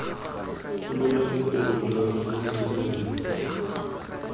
golola bokgoni jwa motho mongwe